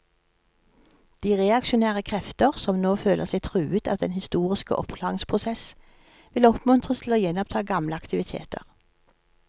De reaksjonære krefter, som nå føler seg truet av den historiske oppklaringsprosess, vil oppmuntres til å gjenoppta gamle aktiviteter.